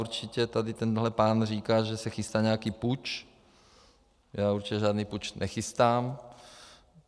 Určitě tady tenhle pán říká, že se chystá nějaký puč, já určitě žádný puč nechystám.